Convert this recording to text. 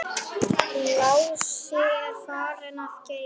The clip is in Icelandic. Lási er farinn að geyma.